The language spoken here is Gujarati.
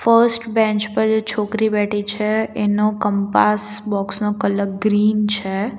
ફર્સ્ટ બેન્ચ પર જે છોકરી બેઠી છે એનો કંપાસ બોક્સ નો કલર ગ્રીન છે.